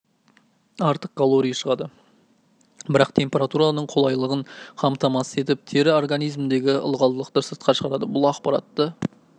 артық калорий шығады бірақ температураның қолайлығын қамтамасыз етіп тер организмдегі ылғалдылықты сыртқа шығарады бұл ақпаратты